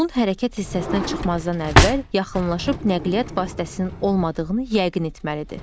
Yolun hərəkət hissəsinə çıxmazdan əvvəl yaxınlaşıb nəqliyyat vasitəsinin olmadığını yəqin etməlidir.